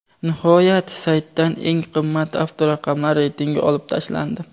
Nihoyat, saytdan eng qimmat avtoraqamlar reytingi olib tashlandi.